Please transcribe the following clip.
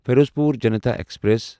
Ferozepur Janta express